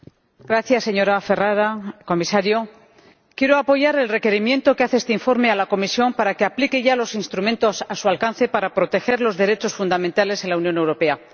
Señor Presidente, señora Ferrara, Comisario, quiero apoyar el requerimiento que hace este informe a la Comisión para que aplique ya los instrumentos a su alcance para proteger los derechos fundamentales en la Unión Europea.